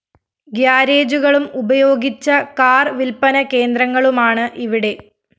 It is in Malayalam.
ഗ്യാരേജുകളും ഉപയോഗിച്ച കാർ വില്‍പ്പന കേന്ദ്രങ്ങളുമാണ് ഇവിടെ